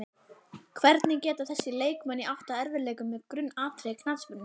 Hvernig geta þessir leikmenn átt í erfiðleikum með grunnatriði knattspyrnunnar?